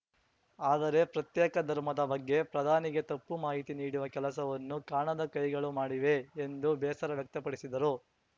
ಆದರೆ ಪ್ರತ್ಯೇಕ ಧರ್ಮದ ಬಗ್ಗೆ ಪ್ರಧಾನಿಗೆ ತಪ್ಪು ಮಾಹಿತಿ ನೀಡುವ ಕೆಲಸವನ್ನು ಕಾಣದ ಕೈಗಳು ಮಾಡಿವೆ ಎಂದು ಬೇಸರ ವ್ಯಕ್ತಪಡಿಸಿದರು